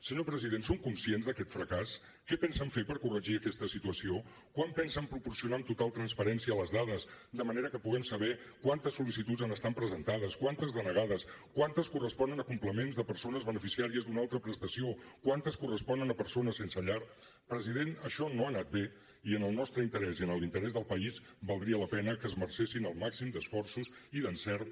senyor president són conscients d’aquest fracàs què pensen fer per corregir aquesta situació quan pensen proporcionar amb total transparència les dades de manera que puguem saber quantes sol·licituds han estat presentades quantes denegades quantes corresponen a complements de persones beneficiàries d’una altra prestació quantes corresponen a persones sense llar president això no ha anat bé i en el nostre interès i en l’interès del país valdria la pena que esmercessin el màxim d’esforços i d’encerts